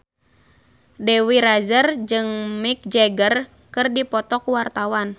Dewi Rezer jeung Mick Jagger keur dipoto ku wartawan